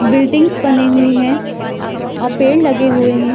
Building बने हुए है और पेड़ लगे हुए है।